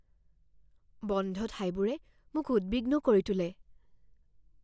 বন্ধ ঠাইবোৰে মোক উদ্বিগ্ন কৰি তোলে